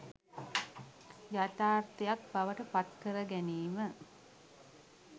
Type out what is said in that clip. යථාර්ථයක් බවට පත්කර ගැනීම